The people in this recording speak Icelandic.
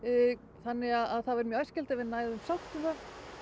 þannig að það væri mjög æskilegt ef við næðum sátt um það